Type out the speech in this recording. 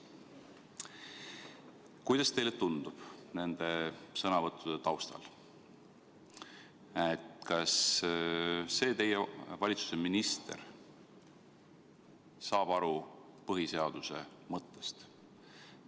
Kuidas teile tundub nende sõnavõttude taustal, kas see teie valitsuse minister saab aru põhiseaduse mõttest?